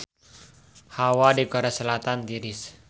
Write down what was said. Hawa di Korea Selatan tiris